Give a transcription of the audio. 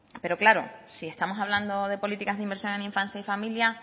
pero claro si estamos hablando de políticas de inversión en la infancia y familia